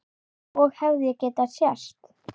Og hefði getað sést.